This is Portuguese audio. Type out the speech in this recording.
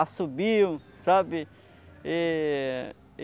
Assobiam, sabe? Eh